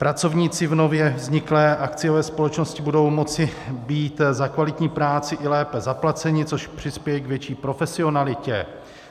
Pracovníci v nově vzniklé akciové společnosti budou moci být za kvalitní práci i lépe zaplaceni, což přispěje k větší profesionalitě.